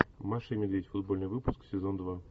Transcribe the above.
маша и медведь футбольный выпуск сезон два